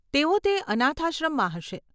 તેઓ તે અનાથાશ્રમમાં હશે.